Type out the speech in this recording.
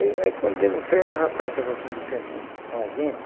Aí aí quando demos fé, o rapaz estava assim de frente com com a gente,